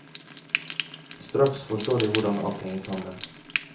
Straks forstår de hvordan alt henger sammen.